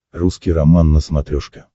русский роман на смотрешке